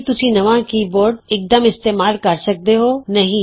ਕੀ ਤੁਸੀਂ ਨਵਾਂ ਕੀਬੋਰਡ ਇਕਦਮ ਇਸਤੇਮਾਲ ਕਰ ਸਕਦੇ ਹੋ ਨਹੀਂ